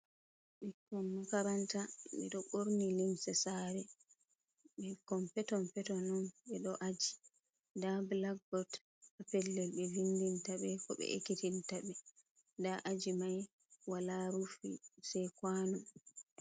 Ɓikkon makaranta ɓe ɗo ɓorni limse sare, ɓikkon peton peton on ɓe ɗo aji da black bot ha pellel be vindinta ɓe ko ɓe ekkitinta ɓe, nda aji mai wala ruf se kwano.